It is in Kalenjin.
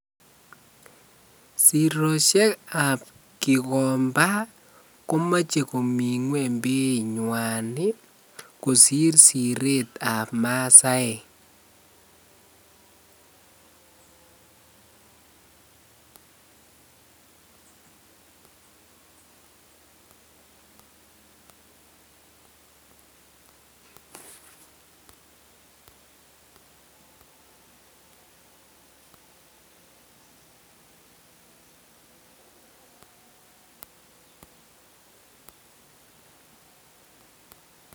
Siroshekab gikomba komoche komiten ngwenybainywan ii kosir siretab masaek .